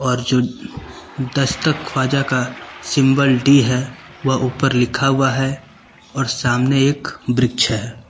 और जो दस्तक ख्वाजा का सिंबल डी है वह ऊपर लिखा हुआ है और सामने एक वृक्ष है।